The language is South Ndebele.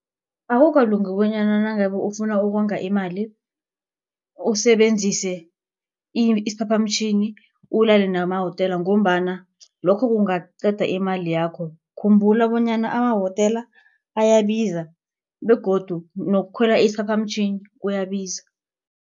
Akukalungi bonyana nangabe ufuna ukonga imali usebenzise isiphaphamtjhini ulale nemahotela ngombana lokho kungaqeda imali yakho. Khumbula bonyana amawotela ayebiza begodu nokukhwela isiphaphamtjhini kuyabiza.